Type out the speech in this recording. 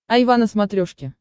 айва на смотрешке